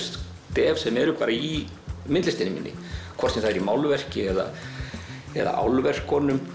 stef sem eru í myndlistinni minni hvort sem það er í málverki eða